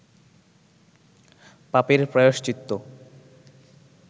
পাপের প্রায়শ্চিত্ত